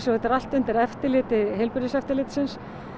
þetta er allt undir eftirliti heilbrigðiseftirlitsins